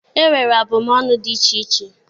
E nwere abụmọnụ dị iche iche.